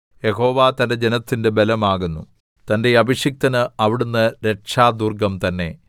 യഹോവ തന്റെ ജനത്തിന്റെ ബലമാകുന്നു തന്റെ അഭിഷിക്തന് അവിടുന്ന് രക്ഷാദുർഗ്ഗം തന്നെ